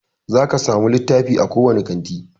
Zaki samu littafi a kowane kanti